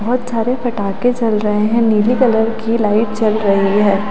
बहुत सारे पटाखे जल रहे हैं नीली कलर की लाइट जल रही है।